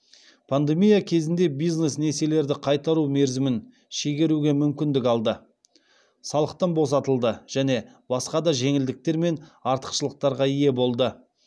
пандемия кезінде бизнес несиелерді қайтару мерзімін шегеруге мүмкіндік алды салықтан босатылды және басқа да жеңілдіктер мен артықшылықтарға ие болды